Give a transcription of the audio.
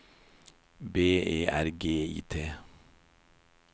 B E R G I T